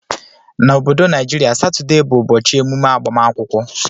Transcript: Na obodo naijiria satuday bu ụbọchi emume agbamakwụkwọ.